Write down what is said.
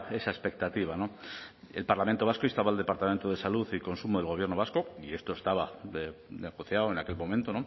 esa expectativa el parlamento vasco instaba al departamento de salud y consumo del gobierno vasco y esto estaba negociado en aquel momento